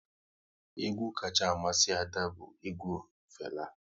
Egwu kacha amasị Ada bụ egwu Fela